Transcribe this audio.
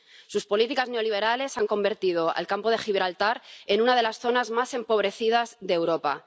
Sus políticas neoliberales han convertido al Campo de Gibraltar en una de las zonas más empobrecidas de Europa.